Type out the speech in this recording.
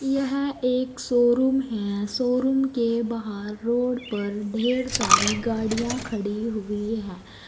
यह एक शोरूम है शोरूम के बाहर रोड पर ढेर सारी गाड़ियां खड़ी हुई है।